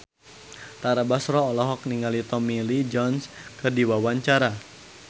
Tara Basro olohok ningali Tommy Lee Jones keur diwawancara